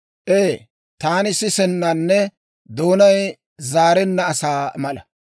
Ee, taani sisennanne doonay zaarenna asaa mala.